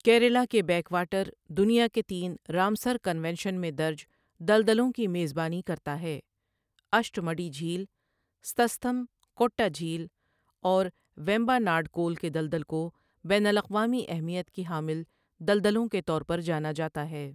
کیرلا کے backwater دنیا کے تین رامسر کنونشن میں درج دلدلوں کی میزبانی کرتا ہے اشٹمڈی جھیل، سستھم کوٹّا جھیل، اور ویمباناڈ کول کے دلدل کو بین الاقوامی اہمیت کی حامل دلدلوں کے طور پر جانا جاتا ہے۔